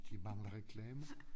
De mangler reklamer